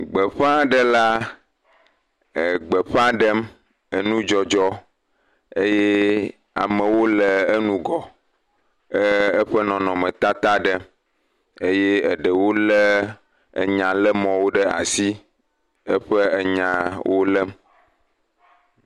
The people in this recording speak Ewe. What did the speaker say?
Gbeƒaɖela gbeƒã ɖem enudzɔdzɔ eye amewo le ŋgɔ eee…, eƒe nɔnɔmetata ɖem eye eɖewo lé enyalémɔwo ɖe asi le eƒe nyawo lém.